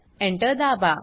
Enter दाबा